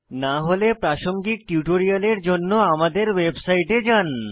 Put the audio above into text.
না হলে প্রাসঙ্গিক টিউটোরিয়ালের জন্য আমাদের ওয়েবসাইটে যান